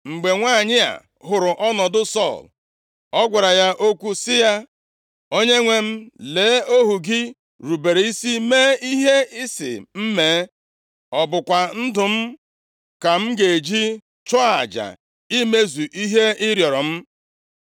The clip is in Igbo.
Mgbe nwanyị a hụrụ ọnọdụ Sọl, ọ gwara ya okwu sị ya, “Onyenwe m, lee, ohu gị rubere isi mee ihe ị sị m mee. Ọ bụkwa ndụ m ka m ji chụọ aja imezu ihe ị rịọrọ m.